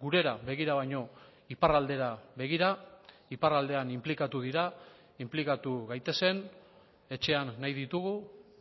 gurera begira baino iparraldera begira iparraldean inplikatu dira inplikatu gaitezen etxean nahi ditugu